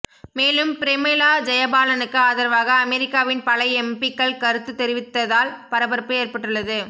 மேலும் பிரமிளா ஜெயபாலனுக்கு ஆதரவாக அமெரிக்காவின் பல எம்பிக்கள் கருத்து தெரிவித்ததால் பரபரப்பு ஏற்பட்டுள்ளது